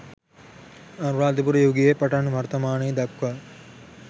අනුරාධපුර යුගයේ පටන් වර්තමානය දක්වා